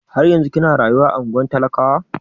Har yanzun kina rayuwa a ungwar talakawa?